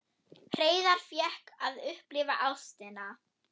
Hreiðar fékk að upplifa ástina.